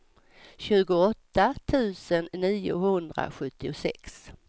tjugoåtta tusen niohundrasjuttiosex